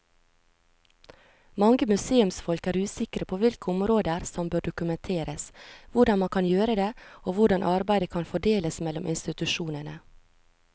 Mange museumsfolk er usikre på hvilke områder som bør dokumenteres, hvordan man kan gjøre det og hvordan arbeidet kan fordeles mellom institusjonene.